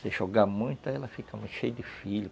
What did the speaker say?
Se jogar muito, aí ela fica muito cheia de filhos.